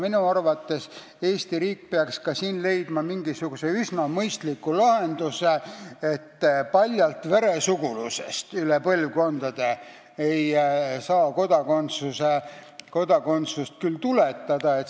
Minu arvates peaks Eesti riik ka siin mingisuguse mõistliku lahenduse leidma – paljalt veresugulusest üle põlvkondade ei saa küll kodakondsust tuletada.